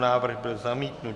Návrh byl zamítnut.